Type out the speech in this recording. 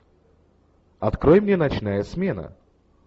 открой мне ночная смена